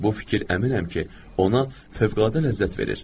Bu fikir əminəm ki, ona fövqəladə ləzzət verir.